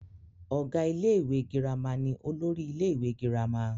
ọ̀gá ilé ìwé girama ni olórí ilé ìwé girama